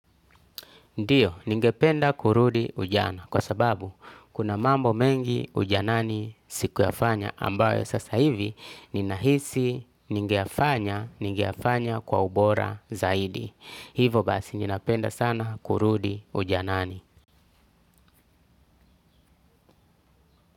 Ndiyo, ningependa kurudi ujana, kwa sababu kuna mambo mengi ujanani sikuyafanya ambayo sasa hivi ninahisi ningeyafanya, ningeyafanya kwa ubora zaidi. Hivo basi ninapenda sana kurudi ujanani.